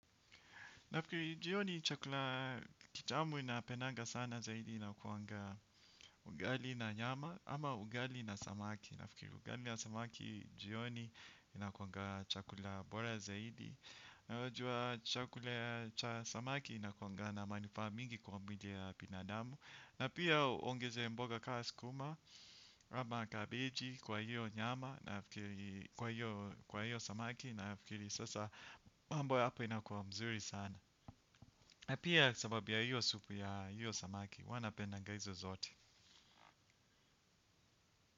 Nafikiri, jioni chakula kitamu ninapendanga sana zaidi inakuanga ugali na nyama ama ugali na samaki. Nafikiri, ugali ya samaki jioni inakuanga chakula bora zaidi. Na unajua chakula ya samaki inakuanga na manufaa mingi kwa mwili ya binadamu. Na pia uongeze mboga kaa sukuma, kama kabeji kwa hiyo nyama nafikiri kwa hiyo samaki nafikiri sasa mambo ya hapa inakuwa mzuri sana. Na pia sababu ya hiyo supu ya hiyo samaki, huwa napendanga hizo zote.